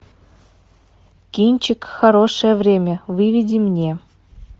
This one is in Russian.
кинчик хорошее время выведи мне